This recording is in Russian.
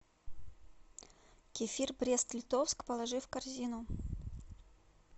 кефир брест литовск положи в корзину